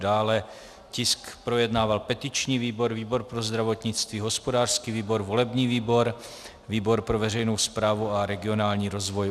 Dále tisk projednával petiční výbor, výbor pro zdravotnictví, hospodářský výbor, volební výbor, výbor pro veřejnou správu a regionální rozvoj.